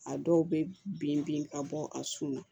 A dɔw bɛ bin bin ka bɔ a sun na